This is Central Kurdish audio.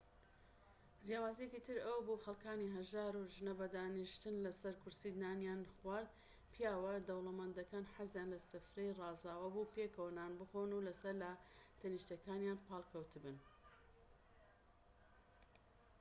جیاوازیەکی تر ئەوەبوو خەلکانی هەژار و ژنەکە بەدانیشتن لەسەر کورسی نانیان خوارد پیاوە دەوڵەمەندەکان حەزیان لە سفرەی ڕازاوە بوو پێکەوە نان بخۆن و لەسەر لاتەنیشتەکانیان پاڵ کەوتبن